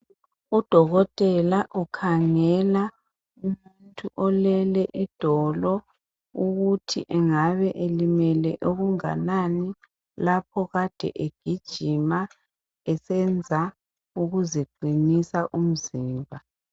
Udokotela ukhangela umuntu olele idolo ukuthi engabe elimele okunganani lapho kade egijima esenza ukuziqinisa umzimba.